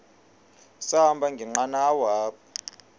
sahamba ngenqanawa apha